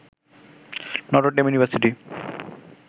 Notre Dame university